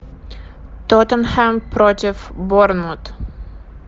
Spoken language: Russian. тоттенхэм против борнмут